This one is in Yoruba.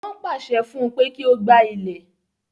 Wọ́n pàṣẹ fún pé kí ó gbá ilẹ̀.